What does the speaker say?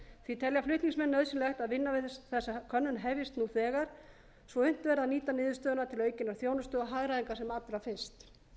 því telja flutningsmenn nauðsynlegt að vinna við þessa könnun hefjist nú þegar svo að unnt verði að nýta niðurstöðuna til aukinnar þjónustu og hagræðingar sem allra fyrst